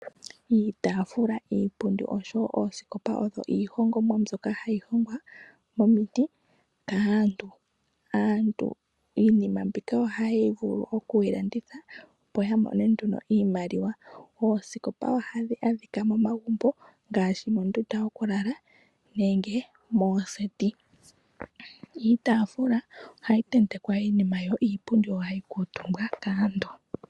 Iitaafula, iipundi nosho woo oosikopa oyo iihongomwa mbyoka hayi hongwa momiti kaantu. Iinima mbika ohaya vulu oku yi landitha opo ya mone iimaliwa. Oosikopa ohadhi adhika momagumbo ngaashi mondunda yokulala nenge moseti. Iitafula ohayi tentekwa iinima yo iipundi ohayi kuutumbwa kaantu.